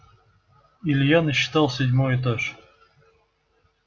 илья насчитал седьмой этаж